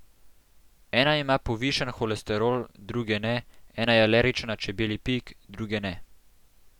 Ena ima povišan holesterol, druge ne, ena je alergična na čebelji pik, druge ne.